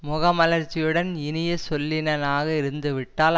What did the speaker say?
முக மலர்ச்சியுடன் இனிய சொல்லினனாக இருந்து விட்டால்